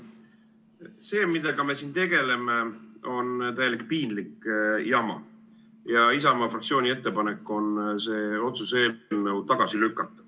See, millega me siin tegeleme, on täielik piinlik jama ja Isamaa fraktsiooni ettepanek on see otsuse eelnõu tagasi lükata.